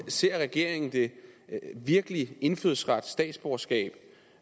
ser regeringen virkelig indfødsret statsborgerskab